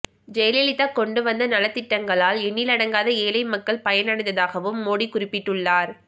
ஜெயலலிதா கொண்டு வந்த நலத்திட்டங்களால் எண்ணிலடங்காத ஏழை மக்கள் பயன் அடைந்ததாகவும் மோடி குறிப்பிட்டுள்ளார்